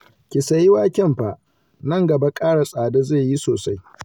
Ki sayi waken fa, nan gaba ƙara tsada zai yi sosai